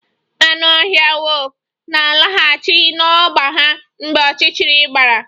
Anụ ọhịa wulfu na-alaghachi n'ọgba ha mgbe ọchịchịrị gbara